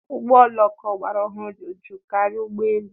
Ụgbọ oloko ọgbara ọhụrụ dị jụụ karịa ụgbọ elu.